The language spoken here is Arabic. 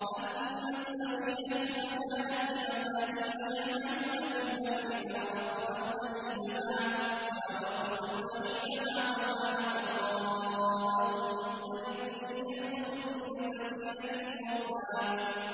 أَمَّا السَّفِينَةُ فَكَانَتْ لِمَسَاكِينَ يَعْمَلُونَ فِي الْبَحْرِ فَأَرَدتُّ أَنْ أَعِيبَهَا وَكَانَ وَرَاءَهُم مَّلِكٌ يَأْخُذُ كُلَّ سَفِينَةٍ غَصْبًا